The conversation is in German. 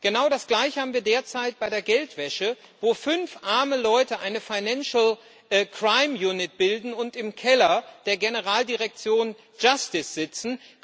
Genau das gleiche haben wir derzeit bei der Geldwäsche, wo fünf arme Leute eine financial crime unit bilden und im Keller der Generaldirektion JUSTICE sitzen.